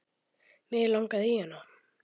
Mig langaði í hana.